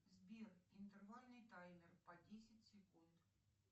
сбер интервальный таймер по десять секунд